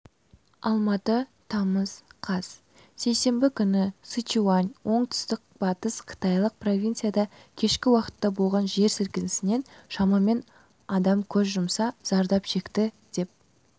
алматы тамыз қаз сейсенбі күні сычуань оңтүстік-батыс қытайлық провинцияда кешкі уақытта болған жер сілкінісінен шамамен адам көз жұмса зардап шекті деп